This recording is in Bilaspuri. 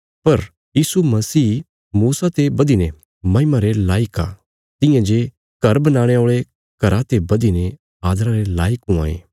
पर यीशु मसीह मूसा ते बधीने महिमा रे लायक आ तियां जे घर बनाणे औल़े घरा ते बधीने आदरा रे लायक हुआं ये